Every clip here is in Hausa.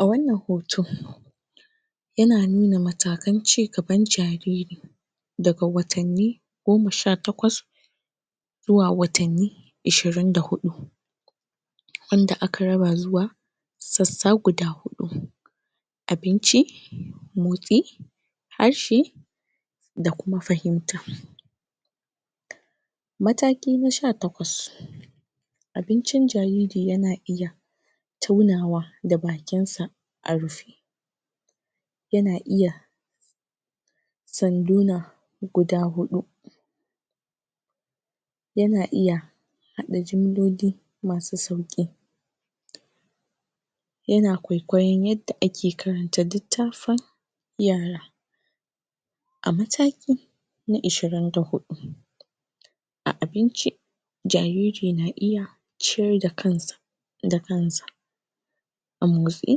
A wannan hoto yana nuna matakan cigaban jariri daga watanni goma sha takwas zuwa watanni ashirin da huɗu wadda aka raba zuwa sassa guda huɗu abinci motsi ashshi da kuma fahimta mataki na sha takwas abincin jariri yana iya taunawa da bakinsa a rufe yana iya sanduna guda huɗu yana iya haɗa jumloli masu sauƙi yana kwaikwaiyon yadda ake karanta littafin yara a mataki na ashirin da huɗu a abinci jariri na iya ciyar da kansa da kansa a motsi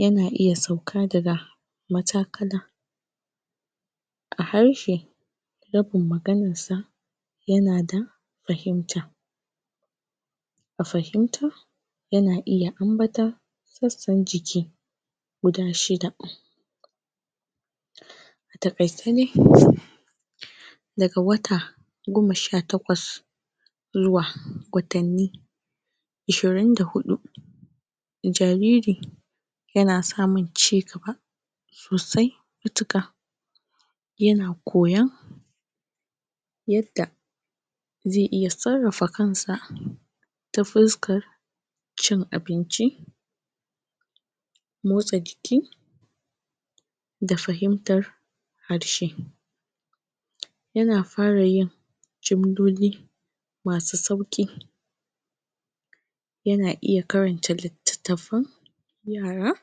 yana iya sauka daga matakala a harshe rabin maganarsa yana da fahimta a fahimta yana iya ambaton sassan jiki guda shida a taƙaice dai daga wata goma sha takwas zuwa watanni ashirin da huɗu jariri yana samun cigaba sosai matuƙa yana koyan yadda zai iya sarrafa kansa ta fuskar cin abinci motsa jiki da fahimtar harshe yana fara yin jumloli masu sauƙi yana iya karanta littatafan yara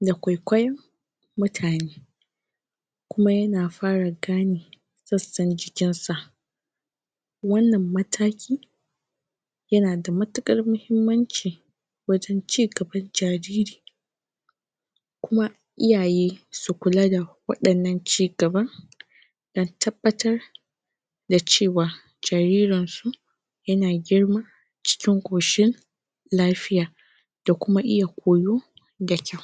da kwaikwaiyon mutane kuma yana fara gane sassan jikinsa wannan mataki yana da matuƙar muhimmanci wajen cigaban jariri kuma iyaye su kula da waɗannan cigaban dan tabbatar da cewa jaririnsu yana girma cikin ƙoshin lafiya da kuma iya koyo da kyau